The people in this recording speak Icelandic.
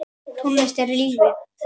Tónlist er lífið!